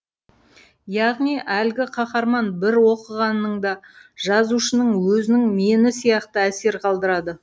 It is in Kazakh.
яғни әлгі қаһарман бір оқығаныңда жазушының өзінің мені сияқты әсер қалдырады